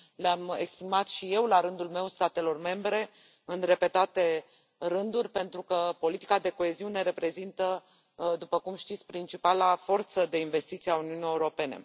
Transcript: Le am exprimat și eu, la rândul meu, statelor membre, în repetate rânduri, pentru că politica de coeziune reprezintă, după cum știți, principala forță de investiție a Uniunii Europene.